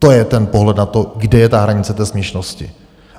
To je ten pohled na to, kde je ta hranice té směšnosti.